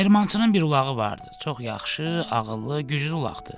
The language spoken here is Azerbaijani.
Dəyirmançının bir ulağı vardı, çox yaxşı, ağıllı, güclü ulaq idi.